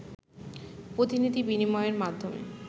প্রতিনিধি বিনিময়ের মাধ্যমে